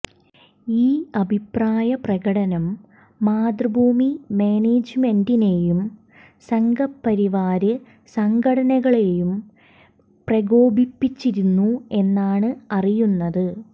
ഈ അഭിപ്രായ പ്രകടനം മാതൃഭൂമി മാനേജ്മെന്റിനേയും സംഘപരിവാര് സംഘടനകളേയും പ്രകോപിപ്പിച്ചിരുന്നു എന്നാണ് അറിയുന്നത്